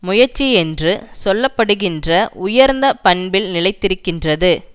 முயற்சி என்று சொல்ல படுகின்ற உயர்ந்த பண்பில் நிலைத்திருக்கின்றது